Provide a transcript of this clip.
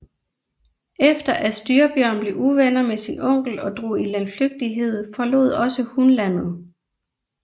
Efter at Styrbjørn blev uvenner med sin onkel og drog i landflygtighed forlod også hun landet